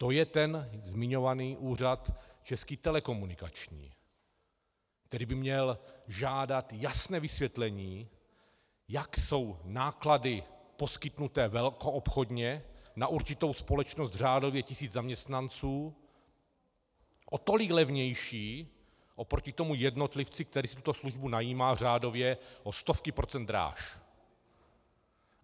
To je ten zmiňovaný úřad Český telekomunikační, který by měl žádat jasné vysvětlení, jak jsou náklady poskytnuté velkoobchodně na určitou společnost, řádově tisíc zaměstnanců, o tolik levnější oproti tomu jednotlivci, který si tuto službu najímá řádově o stovky procent dráž.